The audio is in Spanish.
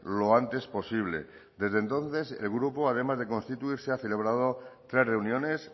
lo antes posible desde entonces el grupo además de constituirse ha celebrado tres reuniones